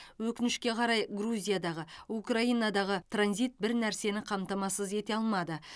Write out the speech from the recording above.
өкінішке қарай грузиядағы украинадағы транзит бір нәрсені қамтамасыз ете алмады